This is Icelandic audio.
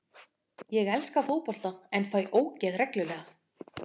Ég elska fótbolta en fæ ógeð reglulega.